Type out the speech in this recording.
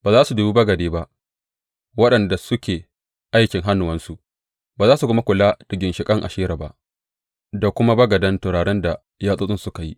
Ba za su dubi bagade ba, waɗanda suke aikin hannuwansu, ba za su kuma kula da ginshiƙan Ashera ba da kuma bagadan turaren da yatsotsinsu suka yi.